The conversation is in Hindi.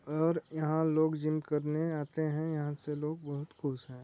और यहाँ लोग जिम करने आते है यहाँ से लोग बहुत खुश है।